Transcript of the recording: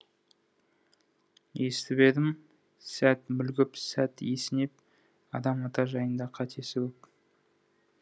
естіп едім сәт мүлгіп сәт есінеп адам ата жайында қатесі көп